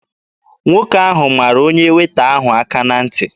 Nwoke ahụ mara onye Weeta ahụ aka na ntị.